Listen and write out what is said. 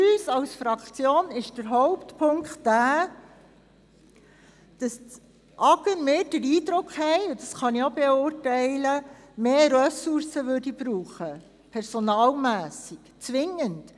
Für unsere Fraktion ist der Hauptpunkt, dass das AGR zwingend mehr Personalressourcen braucht, und das kann ich wirklich beurteilen.